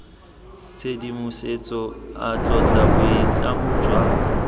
tshedimosetso a tlotla boitlamo jwa